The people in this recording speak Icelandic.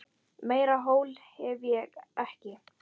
Meira hól hef ég ekki.